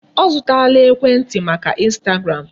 Ọ zụtala ekwentị maka Instagram.